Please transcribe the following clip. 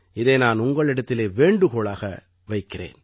இதை நான் உங்களிடத்திலே வேண்டுகோளாக வைக்கிறேன்